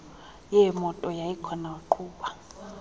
yeemoto yayikhona waqhuba